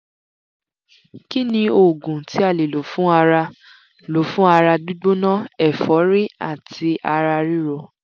kí ni oògùn tí a lè lò fún ara lò fún ara gbigbona ẹ̀forí àti ara ríro?